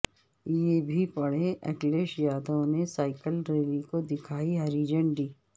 یہ بھی پڑھیں اکھلیش یادو نے سائیکل ریلی کو دکھائی ہری جھنڈی